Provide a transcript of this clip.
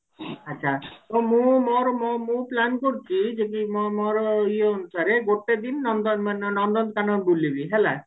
ଆଛା ମୁଁ ମୋର ମୋ ମୁଁ plan କରୁଛି ଯଦି ମୋ ମୋର ଇଏ ଅନୁସାରେ ଗୋଟେ ଦିନ ନନ୍ଦ ମାନେ ନନ୍ଦନକାନନ ବୁଲିବି ହେଲା